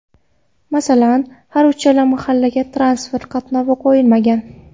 Masalan, har uchala mahallaga transport qatnovi qo‘yilmagan.